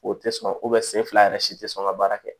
O tɛ sɔn sen fila yɛrɛ si tɛ sɔn ka baara kɛ